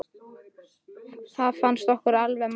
Það fannst okkur alveg magnað.